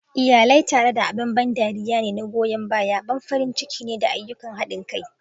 Iyalai tare abin ban dariya ne na goyan baya, ban farin ciki ne, da ayyukan hadin kai.